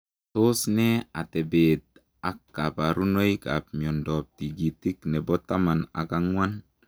Tos nee atepeet ak kaparunoik ap miondoop tigitik nepoo taman ak angwan?